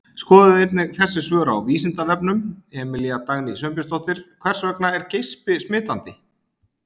Skoðið einnig þessi svör á Vísindavefnum: Emilía Dagný Sveinbjörnsdóttir: Hvers vegna er geispi smitandi?